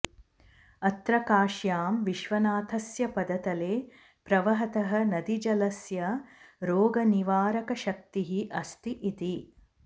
अत्र काश्यां विश्वनाथस्य पदतले प्रवहतः नदीजलस्य रोगनिवारकशक्तिः अस्ति इति